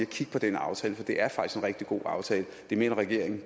kigge på den aftale for det er faktisk en rigtig god aftale det mener regeringen